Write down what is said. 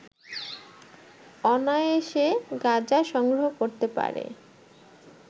অনায়াসে গাঁজা সংগ্রহ করতে পারে